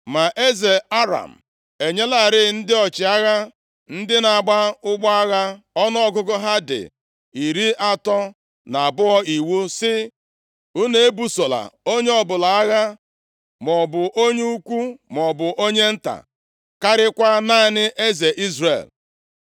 Ma eze Aram enyelarị ndị ọchịagha ndị na-agba ụgbọ agha, ọnụọgụgụ ha dị iri atọ na abụọ, iwu sị, “Unu ebusola onye ọbụla agha, maọbụ onye ukwu maọbụ onye nta, karịakwa naanị eze Izrel.”